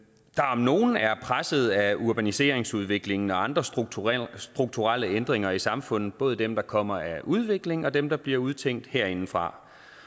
om nogen er presset af urbaniseringsudviklingen og andre strukturelle strukturelle ændringer i samfundet både dem der kommer af udviklingen og dem der bliver udtænkt herindefra